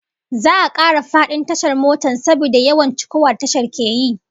Za'a kara fadin tashar motan saboda yawan cikowa da tashar ke yi